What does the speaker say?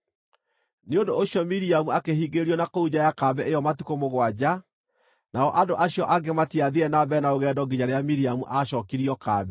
Nĩ ũndũ ũcio Miriamu akĩhingĩrĩrio na kũu nja ya kambĩ ĩyo matukũ mũgwanja, nao andũ acio angĩ matiathiire na mbere na rũgendo nginya rĩrĩa Miriamu aacookirio kambĩ.